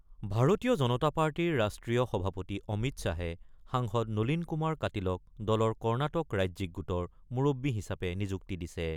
ভাৰতীয় জনতা পাৰ্টিৰ ৰাষ্ট্ৰীয় সভাপতি অমিত শ্বাহে সাংসদ নলীন কুমাৰ কাটিলক দলৰ কৰ্ণাটক ৰাজ্যিক গোটৰ মুৰববী হিচাপে নিযুক্তি দিছে।